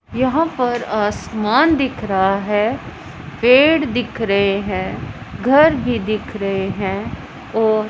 यहां पर आसमान दिख रहा है पेड़ दिख रहे हैं घर भी दिख रहे हैं और--